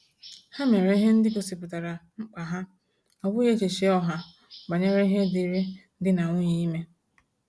Ha mere ihe ndị gosipụtara mkpa ha, ọ bụghị echiche ọha banyere ihe dịri dị na nwunye ime